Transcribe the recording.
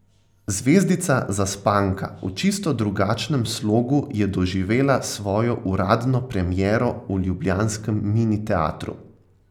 Zvezdica Zaspanka v čisto drugačnem slogu je doživela svojo uradno premiero v ljubljanskem Mini teatru.